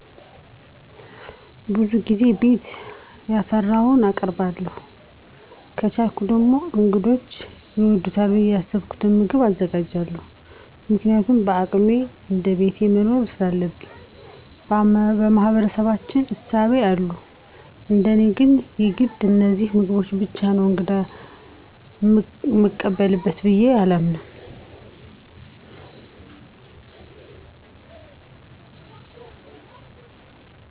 ብዙ ጊዜ ቤት ያፈራዉን አቀርባለዉ። ከቻልኩ ደግሞ እንግዶቸ ይወዱታል ብየ ያሰብኩትን ምግብ አዘጋጃለዉ። ምክንያቱም በአቅሜ እንደቤቴ መኖር ሰላለብኝ። በማህበረሰባችን እሳቤ አሉ እንደኔ ግን የግድ በነዚያ ምግቦች ብቻ ነዉ እንግዳ ምንቀበለዉ ብየ አላምንም።